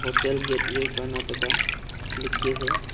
Hotel gateway Karnataka लिखके है।